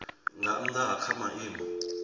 nga nnda ha kha maimo